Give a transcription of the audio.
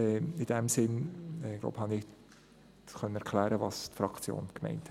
In diesem Sinn konnte ich – glaube ich – erklären, was die Fraktion meinte.